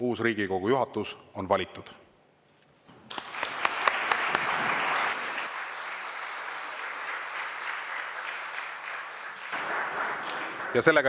Uus Riigikogu juhatus on valitud.